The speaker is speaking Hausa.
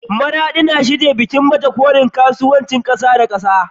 Maraɗi na shirye-shiryen gudanar da bikin baje kolin kasuwanci na ƙasa da ƙasa.